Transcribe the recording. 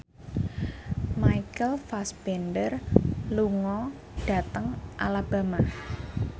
Michael Fassbender lunga dhateng Alabama